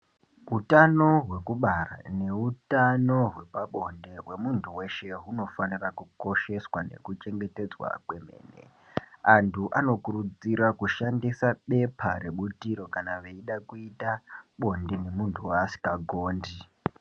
Utano hwekubara neutano hwepabonde hwemuntu weshe hunofanira kukosheswa nekuchengetedzwa kwemene. Antu anokurudzira kushandisa bepa rebutiro kana veida kuita bonde nemuntu waasingagondi.